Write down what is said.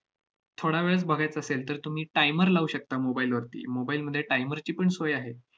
थोडा वेळच बघायचा असेल, तर तुम्ही timer लावू शकता mobile वरती. mobile मध्ये timer ची पण सोय आहे.